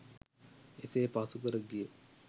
එසේ පසුකර ගිය